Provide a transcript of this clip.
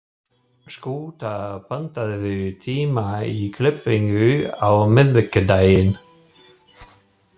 Skúta, pantaðu tíma í klippingu á miðvikudaginn.